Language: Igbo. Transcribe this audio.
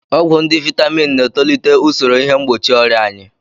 Ọgwụ ndị Vaitamin na-etolite usoro ihe mgbochi ọrịa anyị.